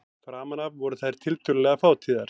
Framan af voru þær tiltölulega fátíðar.